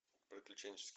приключенческий